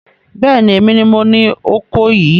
Bẹ́ẹ̀ni, èmi ni moní oko yìí